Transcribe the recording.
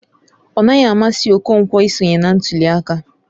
Ọnaghị amasị Okonkwo isonye na ntuli aka.